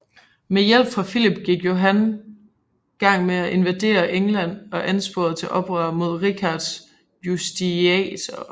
Med hjælp fra Filip gik Johan gang med at invadere England og ansporede til oprør mod Richards justitiarer